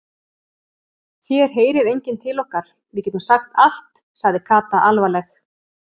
Hér heyrir enginn til okkar, við getum sagt allt sagði Kata alvarleg.